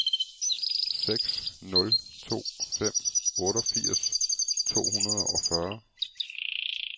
seks nul to fem otteogfirs to hundrede og fyrre